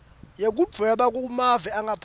yekudvweba kumave angaphandle